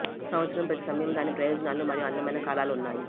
సంవత్సరం ప్రతి సమయం దాని ప్రయోజనాలు మరియు అందమైన కాలాలు ఉన్నాయి